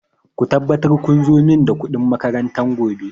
Ku tabbatar kun zo da kuɗin makaranta gobe!